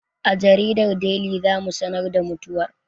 A jaridar Deli za mu sanar da mutuwar